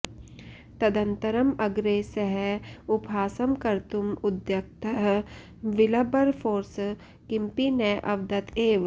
तदनन्तरम् अग्रे सः उपहासं कर्तुम् उद्युक्तः विल्बर्फोर्स् किमपि न अवदत् एव